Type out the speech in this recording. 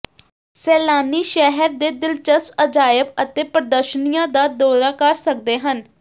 ਸੈਲਾਨੀ ਸ਼ਹਿਰ ਦੇ ਦਿਲਚਸਪ ਅਜਾਇਬ ਅਤੇ ਪ੍ਰਦਰਸ਼ਨੀਆਂ ਦਾ ਦੌਰਾ ਕਰ ਸਕਦੇ ਹਨ